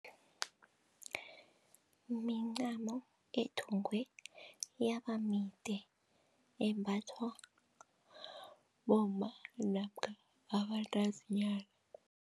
Mincamo ethungwe yabamide embathwa bomma namkha abantazinyana.